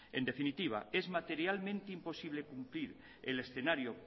en definitiva es materialmente imposible cumplir el escenario